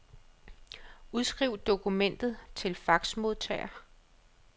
Udskriv dokument til faxmodtager.